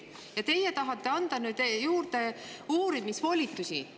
Ja teie tahate nüüd anda juurde uurimisvolitusi.